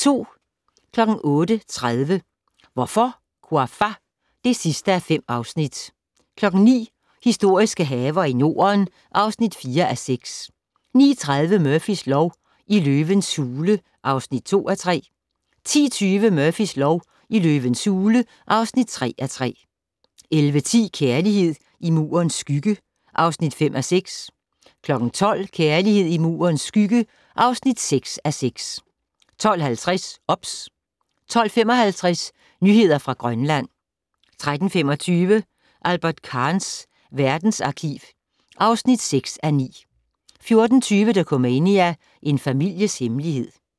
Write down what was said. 08:30: Hvorfor, Ouafa? (5:5) 09:00: Historiske haver i Norden (4:6) 09:30: Murphys lov: I løvens hule (2:3) 10:20: Murphys lov: I løvens hule (3:3) 11:10: Kærlighed i Murens skygge (5:6) 12:00: Kærlighed i Murens skygge (6:6) 12:50: OBS 12:55: Nyheder fra Grønland 13:25: Albert Kahns verdensarkiv (6:9) 14:20: Dokumania: En families hemmelighed